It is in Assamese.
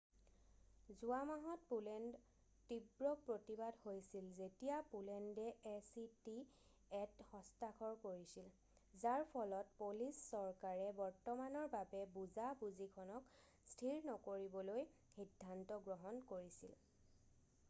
যোৱা মাহত পোলেণ্ড তীব্ৰ প্ৰতিবাদ হৈছিল যেতিয়া পোলেণ্ডে এ চি টি এত হস্তাক্ষৰ কৰিছিল যাৰ ফলত পলিছ চৰকাৰে বৰ্তমানৰ বাবে বুজা বুজিখনক স্থিৰ নকৰিবলৈ সিদ্ধান্ত গ্ৰহণ কৰিছিল